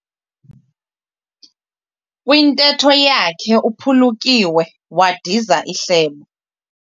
Kwintetho yakhe uphulukiwe wadiza ihlebo.